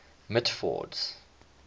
mitford's